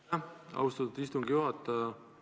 Aitäh, austatud istungi juhataja!